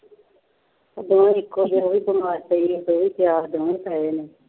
ਇੱਕੋ ਜਿਹਾ, ਉਹ ਵੀ ਬੀਮਾਰ ਪਈ ਹੈ, ਉਹ ਵੀ ਆਪ ਦੋਵੇਂ ਪਏ ਨੇ,